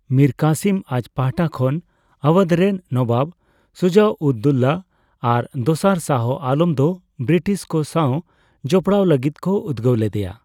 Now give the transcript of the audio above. ᱢᱤᱨ ᱠᱟᱥᱤᱢ ᱟᱡ ᱯᱟᱦᱴᱟ ᱠᱷᱚᱱ ᱟᱣᱟᱫᱷ ᱨᱮᱱ ᱱᱚᱵᱟᱵ ᱥᱩᱡᱟᱼᱩᱫᱼᱫᱳᱞᱟ ᱟᱨ ᱫᱚᱥᱟᱨ ᱥᱟᱦ ᱟᱞᱚᱢ ᱫᱚ ᱵᱨᱤᱴᱤᱥ ᱠᱚ ᱥᱟᱣ ᱡᱚᱯᱲᱟᱣ ᱞᱟᱹᱜᱤᱫ ᱠᱚ ᱩᱫᱜᱟᱹᱣ ᱞᱮᱫᱮᱭᱟ᱾